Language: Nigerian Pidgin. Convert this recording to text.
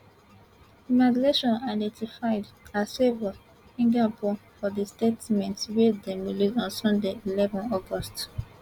immigration identified as favour igiebor for dia statement wey dem release on sunday eleven august